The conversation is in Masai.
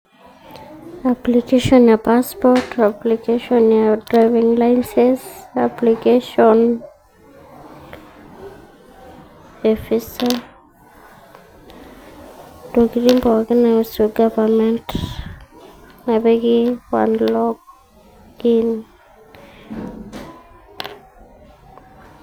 Application ee passport application e driving licence application e visa ntokiting pookin naiusu governement nepiki padlock, Pin